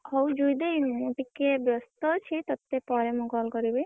ହଉ ଜୁଇ ଦେଇ ମୁଁ ଟିକେ ବେ ସ୍ତ ଅଛି ତତେ ପରେ ମୁଁ call କରିବି।